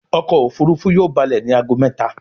ọkọ̀ òfurufú yóò ba'le ní àgọ méta.